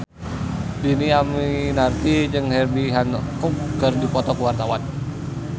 Dhini Aminarti jeung Herbie Hancock keur dipoto ku wartawan